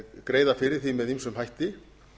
greiða fyrir því með ýmsum hætti